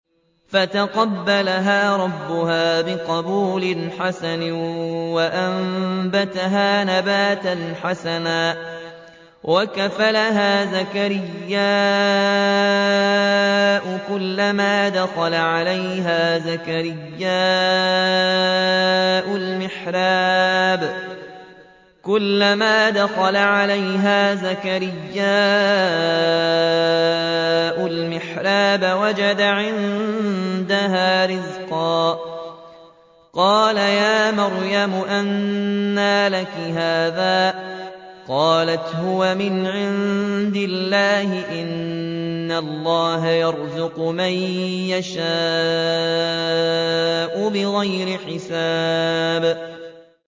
فَتَقَبَّلَهَا رَبُّهَا بِقَبُولٍ حَسَنٍ وَأَنبَتَهَا نَبَاتًا حَسَنًا وَكَفَّلَهَا زَكَرِيَّا ۖ كُلَّمَا دَخَلَ عَلَيْهَا زَكَرِيَّا الْمِحْرَابَ وَجَدَ عِندَهَا رِزْقًا ۖ قَالَ يَا مَرْيَمُ أَنَّىٰ لَكِ هَٰذَا ۖ قَالَتْ هُوَ مِنْ عِندِ اللَّهِ ۖ إِنَّ اللَّهَ يَرْزُقُ مَن يَشَاءُ بِغَيْرِ حِسَابٍ